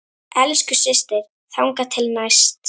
Elsku systir, þangað til næst.